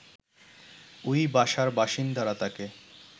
ওই বাসার বাসিন্দারা তাকে